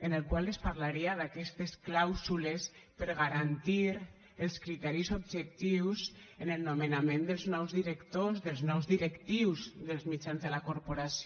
en el qual es parlaria d’aquestes clàusules per a garantir els criteris objectius en el nomenament dels nous directors dels nous directius dels mitjans de la corporació